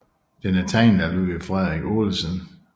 Den er tegnet af Ludvig Frederik Olesen